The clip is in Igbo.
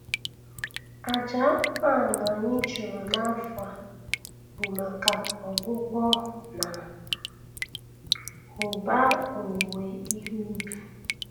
Aja anụmanụ anyị chụrụ n'afọ a bụ maka ọgwụgwọ na ụba owuwe ihe ubi